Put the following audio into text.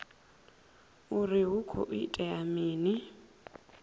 uri hu khou itea mini